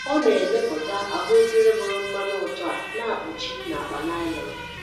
Ọ na-emepụta ahụ ekere bụrụ mmanụ ụtọ a na-akpuchi n’akpa naịlọn.